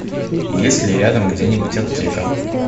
есть ли рядом где нибудь аптека